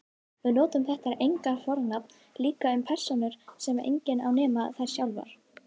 Við notum þetta eignarfornafn líka um persónur sem enginn á nema þær sjálfar.